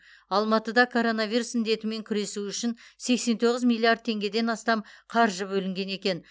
алматыда коронавирус індетімен күресу үшін сексен тоғыз миллиард теңгеден астам қаржы бөлінген екен